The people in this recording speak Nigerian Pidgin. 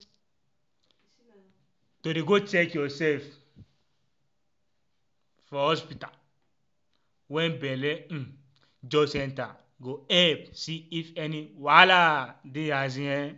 um to dey go check yoursef for hospta wen belle um just enta go epp see if any wahal dey asin emm